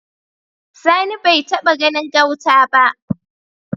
Sani bai taba ganin gauta ba